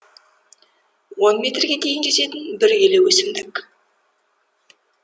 он метрге дейін жететін бір үйлі өсімдік